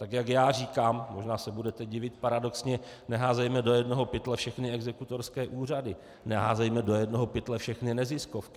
Tak jak já říkám, možná se budete divit, paradoxně, neházejme do jednoho pytle všechny exekutorské úřady, neházejme do jednoho pytle všechny neziskovky.